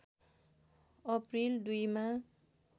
April २ मा